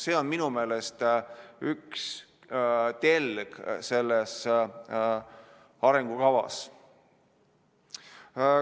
See on minu meelest üks telg selles arengukavas.